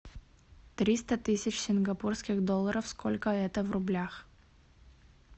триста тысяч сингапурских долларов сколько это в рублях